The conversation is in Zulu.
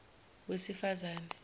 wesifazane